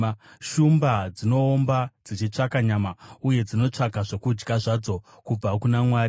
Shumba dzinoomba dzichitsvaka nyama, uye dzinotsvaka zvokudya zvadzo kubva kuna Mwari.